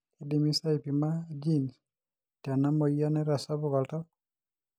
keidimi sa aipima genes tena moyian naitasapuk oltau?